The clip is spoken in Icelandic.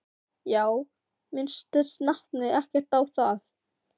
Já, minntist nafni ekkert á það?